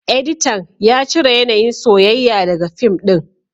Editan ya cire yanayin soyayya daga fim din